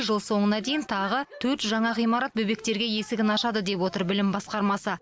жыл соңына дейін тағы төрт жаңа ғимарат бөбектерге есігін ашады деп отыр білім басқармасы